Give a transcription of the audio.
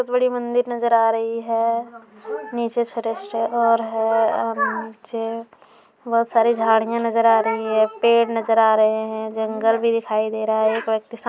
बोहोत बड़ी मंदिर नज़र आ रही है। नीचे छोटे-छोटे और हैं उम नीचे बोहोत सारी झाड़ियाॅं नज़र आ रही हैं पेड़ नज़र आ रहे हैं जंगल भी दिखाई दे रहा है। एक व्यक्ति साम --